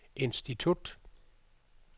institut